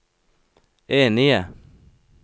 enige